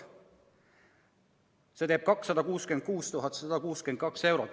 See teeb 266 162 eurot.